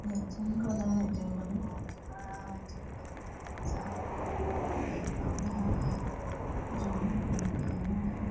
यह जंगल है जंगल बहुत बड़ा है जंगल में बहुत सारा पेड़ पौधा है जो अभी भीग गया है।